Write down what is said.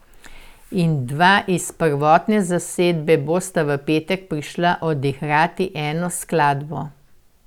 In dva iz prvotne zasedbe bosta v petek prišla odigrati eno skladbo.